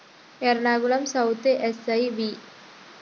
Ernakulam south SI V